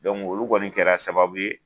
olu kɔni kɛra sababu ye.